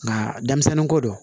Nka denmisɛnninko don